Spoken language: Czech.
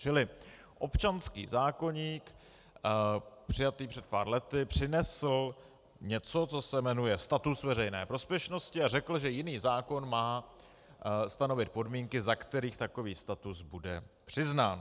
Čili občanský zákoník přijatý před pár lety přinesl něco, co se jmenuje status veřejné prospěšnosti, a řekl, že jiný zákon má stanovit podmínky, za kterých takový status bude přiznán.